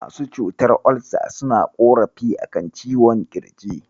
Masu cutar Olsa suna ƙorafi a kan ciwon ƙirji.